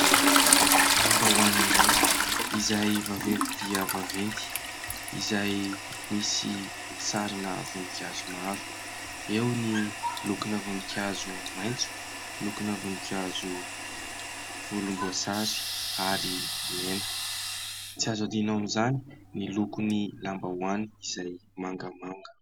Lambahoany iray, izay vaventy dia vaventy, izay misy sarina voninkazo maro : eo ny lokona voninkazo maitso, lokona voninkazo volomboasary ary mena. Tsy azo adino amin'izany ny lokon'ny lambahoany izay mangamanga.